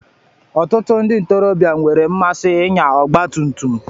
Ọtụtụ ndị ntorobịa nwere mmasị ịnya ọgba tum tum.